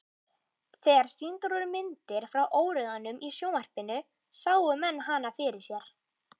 Þegar sýndar voru myndir frá óeirðum í sjónvarpinu sáu menn hana fyrir sér.